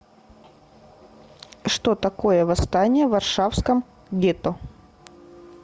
что такое восстание в варшавском гетто